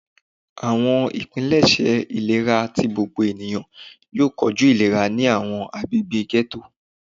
Awọn ipilẹṣẹ ilera ti gbogbo eniyan yoo koju ilera ni awọn agbegbe ghetto.